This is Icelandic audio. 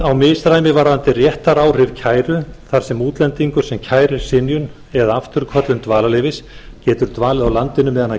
á misræmi varðandi réttaráhrif kæru þar sem útlendingur sem kærir synjun eða afturköllun dvalarleyfis getur dvalið á landinu meðan kæran